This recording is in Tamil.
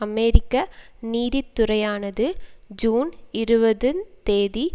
அமெரிக்க நீதித்துறையானது ஜூன் இருபது ந் தேதி